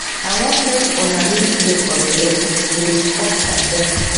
i wan make una leave space for bele we dey pop champagne